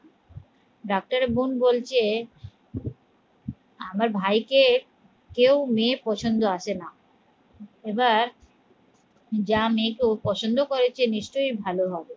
ডাক্তারের বোন বলছে আমার ভাইকে কেউ মেয়ে পছন্দ আসে না এবার যা মেয়েকে ও পছন্দ করেছে নিশ্চয়ই ভালো হবে